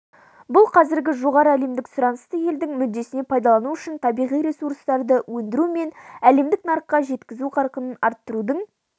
бұл қазіргі жоғары әлемдік сұранысты елдің мүддесіне пайдалану үшін табиғи ресурстарды өндіру мен әлемдік нарыққа жеткізу қарқынын арттырудың